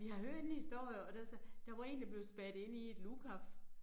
Vi har hørt en historie og der der var én der blev spærret inde i et lukaf